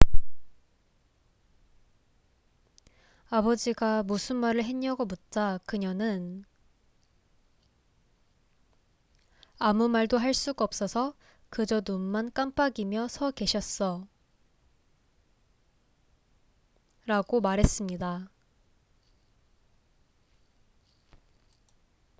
"아버지가 무슨 말을 했냐고 묻자 그녀는 "아무 말도 할 수가 없어서 그저 눈만 깜빡이며 서 계셨어""라고 말했습니다.